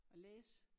At læse